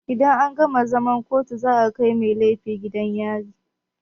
Idan an gama zaman kotu za a kai mai laifi gidan yari.